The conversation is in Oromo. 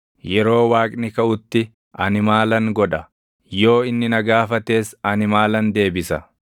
yeroo Waaqni kaʼutti ani maalan godha? Yoo inni na gaafates ani maalan deebisa?